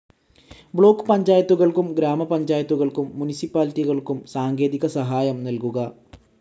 Block പഞ്ചായത്തുകൾക്കും ഗ്രാമപഞ്ചായത്തുകൾക്കും മുനിസിപ്പാലിറ്റികൾക്കും സാങ്കേതിക സഹായം നൽകുക.